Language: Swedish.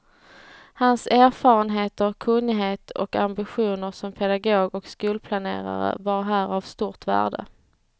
Hans erfarenheter, kunnighet och ambitioner som pedagog och skolplanerare var här av stort värde.